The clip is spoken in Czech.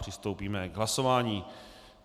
Přistoupíme k hlasování.